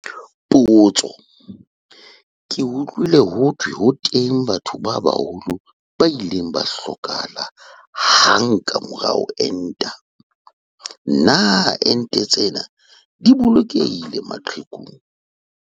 Potso- Ke utlwile ho thwe ho teng batho ba baholo ba ileng ba hlokahala hang ka mora ho enta. Na ente tsena di bolokehile maqhekung?